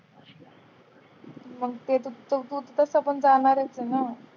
जाणारच हे ना?